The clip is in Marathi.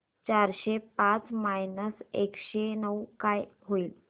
चारशे पाच मायनस एकशे नऊ काय होईल